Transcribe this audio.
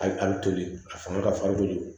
A bɛ toli a fanga ka farin kojugu